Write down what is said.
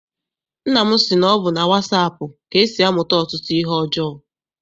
Nna m sị na ọ bụ na wasaapụ ka e si amụta ọtụtụ ihe ọjọọ.